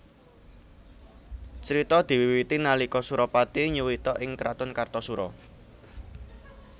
Crita diwiwiti nalika Surapati nyuwita ing kraton Kartasura